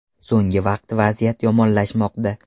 So‘nggi vaqt vaziyat yomonlashmoqda.